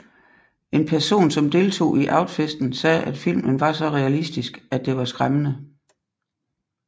En person som deltog i Outfesten sagde at filmen var så realistisk at det var skræmmende